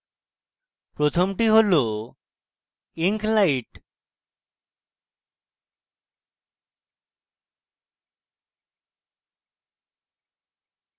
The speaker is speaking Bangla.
প্রথমটি হল ink light